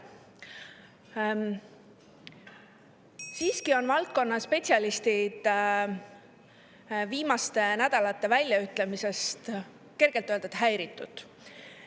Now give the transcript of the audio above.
Siiski on valdkonna spetsialistid viimaste nädalate väljaütlemistest pehmelt öeldes häiritud.